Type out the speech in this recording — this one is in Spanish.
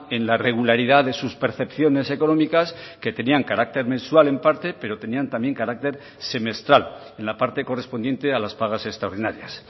en la regularidad de sus percepciones económicas que tenían carácter mensual en parte pero tenían también carácter semestral en la parte correspondiente a las pagas extraordinarias